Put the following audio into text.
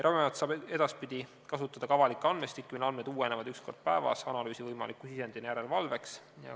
Ravimiamet saab edaspidi kasutada ka avalikke andmestikke, mille andmed uuenevad üks kord päevas, analüüsi võimaliku sisendina järelevalveks.